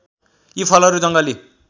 यी फलहरू जङ्गली